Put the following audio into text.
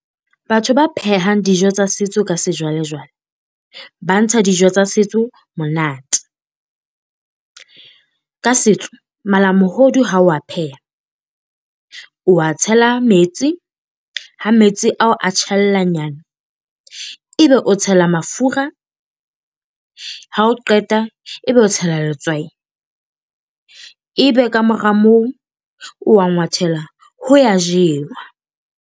Batho ba phehang dijo tsa setso ka sejwalejwale ba ntsha dijo tsa setso monate. Ka setso, malamohodu ha o a pheha, o a tshela metsi. Ha metsi a o a tjhellanyana e be o tshela mafura. Ha o qeta ebe o tshela letswai. Ebe ka mora moo o a ngwathela, ho a jewa.